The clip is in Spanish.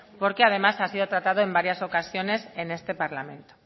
porque además ha sido tratado en varias ocasiones en este parlamento